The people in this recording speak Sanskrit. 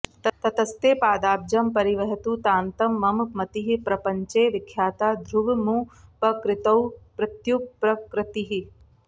ततस्ते पादाब्जं परिवहतु तान्तं मम मतिः प्रपञ्चे विख्याता ध्रुवमुपकृतौ प्रत्युपकृतिः